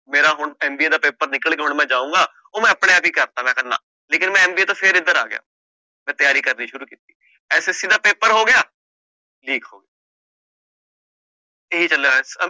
ਮੇਰਾ ਹੁਣ MBA ਦਾ ਪੇਪਰ ਨਿਕਲ ਗਿਆ ਹੁਣ ਮੈਂ ਜਾਊਂਗਾ ਉਹ ਮੈਂ ਆਪਣੇ ਆਪ ਹੀ ਕਰ ਦਿੱਤਾ ਮੈਂ ਕਿਹਾ ਨਾ ਲੇਕਿੰਨ ਮੈਂ MBA ਤੋਂ ਫਿਰ ਇੱਧਰ ਆ ਗਿਆ, ਮੈਂ ਤਿਆਰੀ ਕਰਨੀ ਸ਼ੁਰੂ ਕੀਤੀ SSC ਦਾ ਪੇਪਰ ਹੋ ਗਿਆ ਇਹ ਚੱਲਿਆ